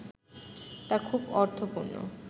তা খুব অর্থপূর্ণ